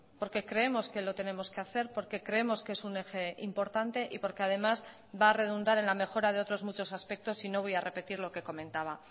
porque creemos que lo tenemos que hacer porque creemos que es un eje importante y porque además va a redundar en la mejora de otros muchos aspectos y no voy a repetir lo que comentaba